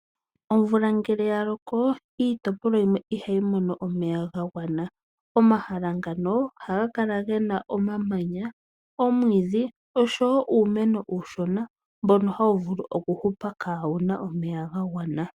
Omvula ngele ya loko iitopolwa yimwe ihayi mono omeya ga gwana. Omahala ngano ohaga kala ge na omamanya, omwiidhi osho woo uumeno uushona mbono hawu vulu oku hupa kaawuna omeya ga gwana.